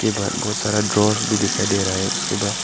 इसके बाहर बहोत सारा ड्रास भी दिखाई दे रहा है उसके बाद--